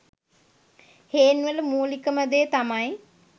හේන් වල මූලිකම දේ තමයි